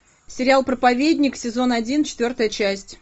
сериал проповедник сезон один четвертая часть